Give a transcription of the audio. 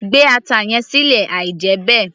gbé ata yẹn sílẹ̀ àí jẹ́ bẹ́ẹ̀